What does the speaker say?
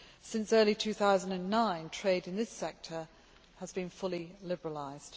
Since early 2009, trade in this sector has been fully liberalised.